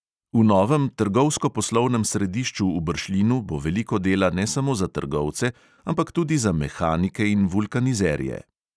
V novem trgovsko-poslovnem središču v bršljinu bo veliko dela ne samo za trgovce, ampak tudi za mehanike in vulkanizerje.